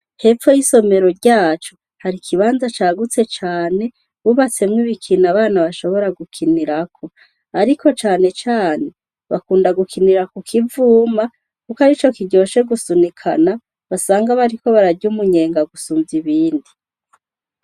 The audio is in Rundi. Hepfo yisomero ryacu hari ikibanza cagutse cane bubatsemwo ibikino abana bashobora gukinirako ariko canecane bakunda gukinira ku kivuma kuko arico kiryoshe gusunikana basanga arico bariko barya umunyenga gusumba ibindi.